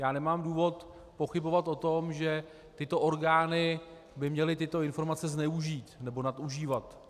Já nemám důvod pochybovat o tom, že tyto orgány by měly tyto informace zneužít nebo nadužívat.